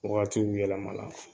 Wagatiw yɛlɛmana